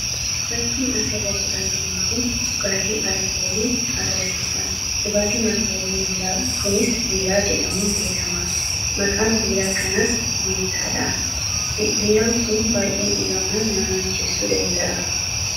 Fakkiin asirratti arginu kun dhugaatii alkooliiti. Dhugaatiin alkoolii kunis 'Biiraa' jedhama. Maqaan biiraa kanaas Meettaadha. Biiraan kun baay'ee dhugamnaan nama macheessuu danda’a.